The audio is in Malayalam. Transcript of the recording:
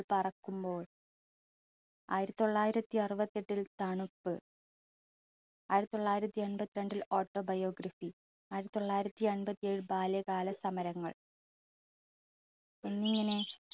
പറക്കുമ്പോൾ ആയിരത്തി തൊള്ളായിരത്തി അറുപത്തിഎട്ടിൽ തണുപ്പ്, ആയിരത്തി തൊള്ളായിരത്തി എൺപത്തിരണ്ടിൽ autobiography ആയിരത്തി തൊള്ളായിരത്തി എൺപത്തിഏഴിൽ ബാല്യകാല സമരങ്ങൾ എന്നിങ്ങനെ